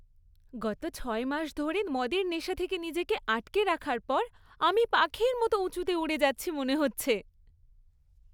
গত ছয় মাস ধরে মদের নেশা থেকে নিজেকে আটকে রাখার পর, আমি পাখির মতো উঁচুতে উড়ে যাচ্ছি মনে হচ্ছে।